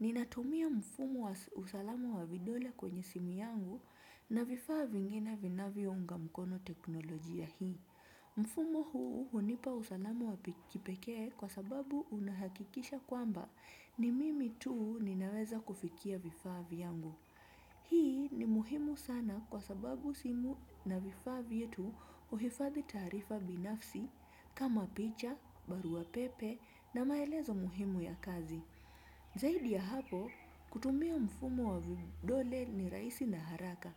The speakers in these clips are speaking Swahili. Ninatumia mfumo wa usalamu wa vidole kwenye simu yangu na vifaa vingine vina viounga mkono teknolojia hii. Mfumo huu hunipa usalama wa pikipeke kwa sababu unahakikisha kwamba ni mimi tuu ninaweza kufikia vifaa viyangu. Hii ni muhimu sana kwa sababu simu na vifaa vietu uhifadi tarifa binafsi kama picha, barua pepe na maelezo muhimu ya kazi. Zaidi ya hapo, kutumia mfumo wa vidole ni raisi na haraka,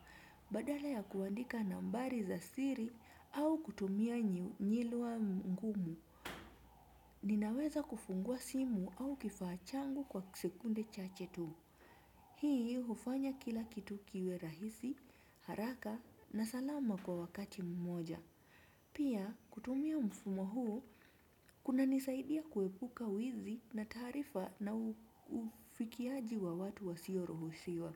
badala ya kuandika nambari za siri au kutumia njilu wa ngumu. Ninaweza kufungua simu au kifachangu kwa sekunde chachetu. Hii hufanya kila kitu kiwe rahisi, haraka na salama kwa wakati mmoja. Pia kutumia mfumo huu kuna nisaidia kuepuka wizi na tarifa na ufikiaji wa watu wa sioro husiwa.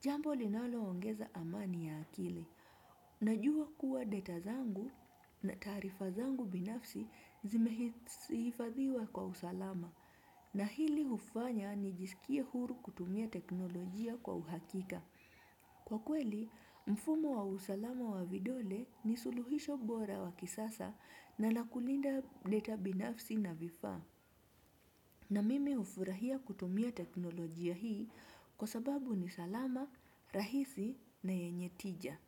Jambo linalo ongeza amani ya akile. Najua kuwa data zangu na tarifa zangu binafsi zimehifadhiwa kwa usalama na hili ufanya ni jisikie huru kutumia teknolojia kwa uhakika. Kwa kweli, mfumo wa usalama wa vidole ni suluhisho bora wa kisasa na nakulinda deta binafsi na vifa na mimi ufurahia kutumia teknolojia hii kwa sababu ni salama, rahisi na yenye tija.